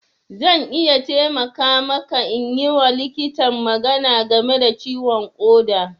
Zan iya taimaka maka in yi wa likitan magana game da ciwon ƙoda.